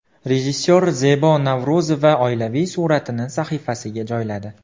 Rejissor Zebo Navro‘zova oilaviy suratini sahifasiga joyladi.